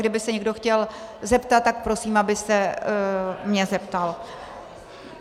Kdyby se někdo chtěl zeptat, tak prosím, aby se mě zeptal.